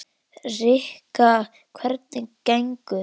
Rikka, hvernig gengur?